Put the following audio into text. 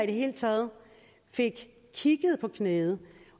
det hele taget blev kigget på knæet